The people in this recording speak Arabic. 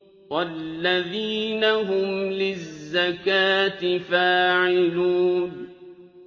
وَالَّذِينَ هُمْ لِلزَّكَاةِ فَاعِلُونَ